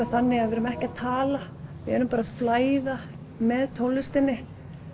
þannig að við erum ekki að tala við erum bara að flæða með tónlistinni